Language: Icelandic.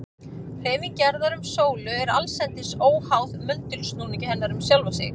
Hreyfing jarðar um sólu er allsendis óháð möndulsnúningi hennar um sjálfa sig.